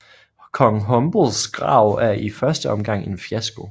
Kong Humbles Grav er i første omgang en fiasko